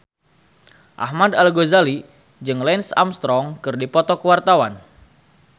Ahmad Al-Ghazali jeung Lance Armstrong keur dipoto ku wartawan